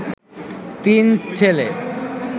তিন ছেলে